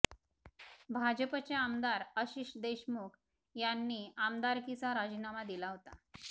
भाजपचे आमदार आशिष देशमुख यांनी आमदरकीचा राजीनामा दिला होता